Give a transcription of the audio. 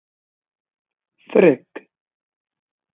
Frigg